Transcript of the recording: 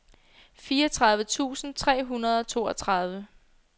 fireogtredive tusind tre hundrede og toogtredive